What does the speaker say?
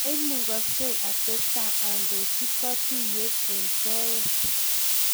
Maimugaksei atestai andochi kotuiyet eng soet